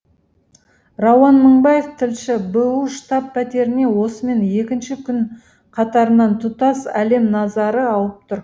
рауан мыңбаев тілші бұұ штаб пәтеріне осымен екінші күн қатарынан тұтас әлем назары ауып тұр